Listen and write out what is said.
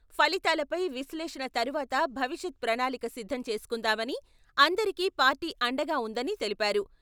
ఫలితాలపై విశ్లేషణ తరువాత భవిష్యత్ ప్రణాళిక సిద్ధం చేసుకుందామని, అందరికి పార్టీ అండగా ఉందని తెలిపారు.